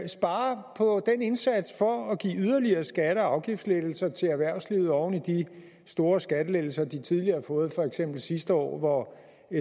spare på den indsats for at give yderligere skatte og afgiftslettelser til erhvervslivet oven i de store skattelettelser de tidligere har fået for eksempel sidste år hvor